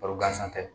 Baro gansan tɛ